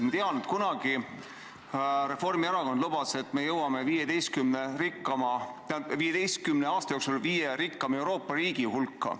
Ma tean, et kunagi Reformierakond lubas, et me jõuame 15 aasta jooksul viie rikkaima Euroopa riigi hulka.